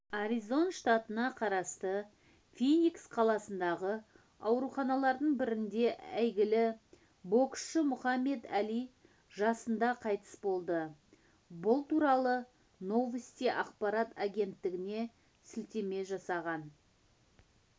аризон штатына қарасты финикс қаласындағы ауруханалардың бірінде әйгілі боксшы мұхаммед әли жасында қайтыс болды бұл туралы новости ақпарат агенттігіне сілтеме жасаған